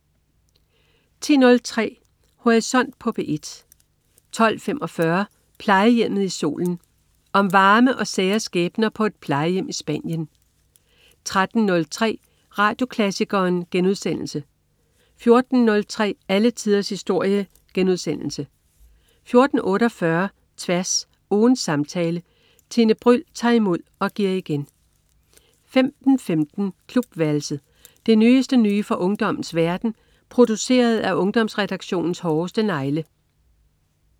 10.03 Horisont på P1 12.45 Plejehjemmet i Solen. Om varme og sære skæbner på et plejehjem i Spanien 13.03 Radioklassikeren* 14.03 Alle tiders historie* 14.48 Tværs. Ugens samtale. Tine Bryld tager imod og giver igen 15.15 Klubværelset. Det nyeste nye fra ungdommens verden, produceret af Ungdomsredaktionens hårdeste negle